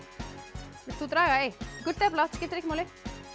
vilt þú draga eitt gult eða blátt skiptir ekki máli